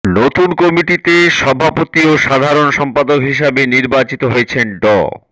নতুন কমিটিতে সভাপতি ও সাধারন সম্পাদক হিসাবে নির্বাচিত হয়েছেন ড